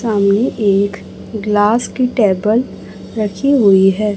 सामने एक ग्लास की टेबल रखी हुई है।